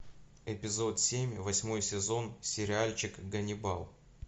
эпизод семь восьмой сезон сериальчик ганнибал